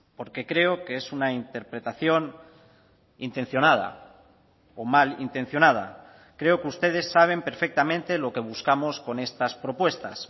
porque creo que es una interpretación intencionada o malintencionada creo que ustedes saben perfectamente lo que buscamos con estas propuestas